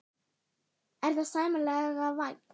Viggó Jónsson: Er það sæmilega vænt?